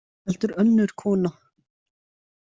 Heldur önnur kona.